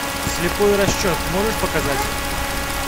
слепой расчет можешь показать